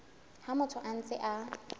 ha motho a ntse a